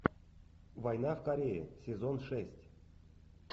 война в корее сезон шесть